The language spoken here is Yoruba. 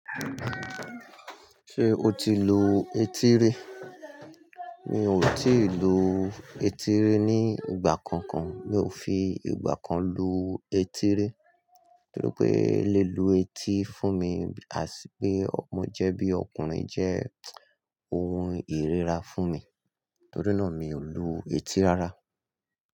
Ṣé o ti lu etí ri? Mi ò tíì lu etí ri ní ìgbà kankan. Mi ò fi ìgbà kan lu etí ri torí pé lílu etí fún mi, as pé ọmọ jẹ́ bí ọkùnrin jẹ́ ohun ìríra fún mi. Torí náà mi ò lu etí rárá.